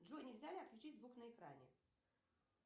джой нельзя ли отключить звук на экране